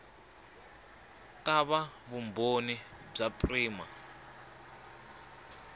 ta va vumbhoni bya prima